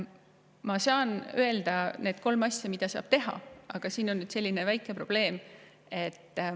Ma saan öelda need kolm asja, mida saab teha, aga sellega on väike probleem.